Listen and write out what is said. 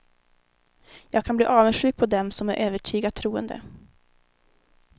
Jag kan bli avundsjuk på dem som är övertygat troende.